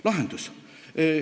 Lahendus.